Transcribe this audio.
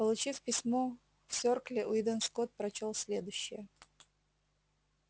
получив письмо в серкле уидон скотт прочёл следующее